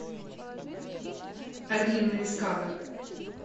орлиные скалы